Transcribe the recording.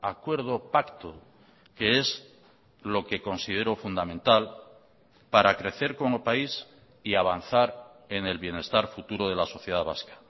acuerdo pacto que es lo que considero fundamental para crecer como país y avanzar en el bienestar futuro de la sociedad vasca